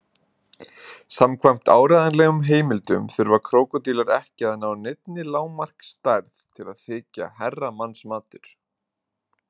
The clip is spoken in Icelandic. Samkvæmt áreiðanlegum heimildum þurfa krókódílar ekki að ná neinni lágmarksstærð til að þykja herramannsmatur.